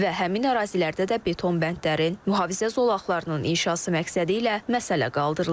Və həmin ərazilərdə də beton bəndlərin mühafizə zolaqlarının inşası məqsədi ilə məsələ qaldırılıb.